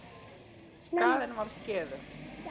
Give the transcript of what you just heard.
Skaðinn var skeður.